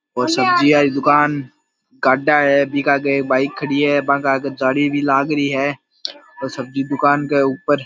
और सब्जी वाली दूकान गाढ़ा है बीके आगे एक बाइक भी खड़ी है बांके आगे जाली भी लाग रही है सब्जी दूकान के ऊपर--